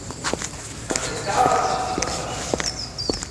A preiskava se še ni končala.